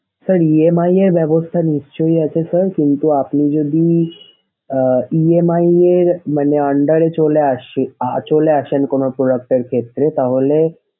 sir EMI এর ব্যাবস্থা নিশ্চই আছে sir কিন্তু আপনি যদি আহ EMI মানে under এ চলে আসে~ চলে আসেন কোনো product এর ক্ষেত্রে তাহলে